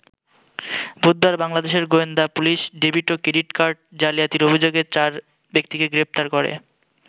বুধবার বাংলাদেশের গোয়েন্দা পুলিশ ডেবিট ও ক্রেডিট কার্ড জালিয়াতির অভিযোগে চার ব্যক্তিকে গ্রেপ্তার করে।